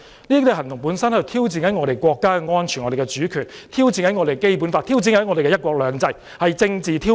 這種行動本身是在挑戰我們的國家安全、主權、《基本法》及"一國兩制"，是政治挑釁。